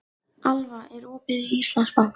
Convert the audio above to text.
Alva, er opið í Íslandsbanka?